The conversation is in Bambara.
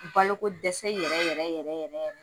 Balo ko dɛsɛ yɛrɛ yɛrɛ yɛrɛ yɛrɛ.